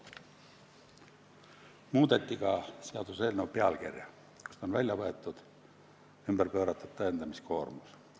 Muudeti ka seaduseelnõu pealkirja, sealt võeti välja väljend "vara legaalse päritolu pööratud tõendamiskoormus".